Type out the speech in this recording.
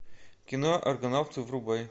кино аргонавты врубай